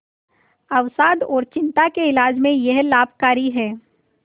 अवसाद और चिंता के इलाज में यह लाभकारी है